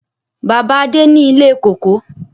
Bàbá adé ni ilé kóko.